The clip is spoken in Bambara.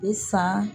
I san